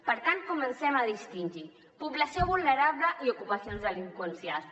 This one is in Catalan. per tant comencem a distingir població vulnerable i ocupació delinqüencial